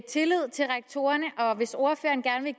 tillid til rektorerne og hvis ordføreren gerne